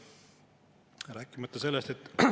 Ei ole mingit põhjust selle eest tänulik olla.